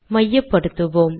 மையப்படுத்துவோம்